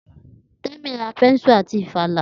Temi ra bẹ́nsù àti ìfàlà